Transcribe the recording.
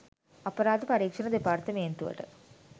අපරාධ පරීක්‍ෂණ දෙපාර්තමේන්තුවට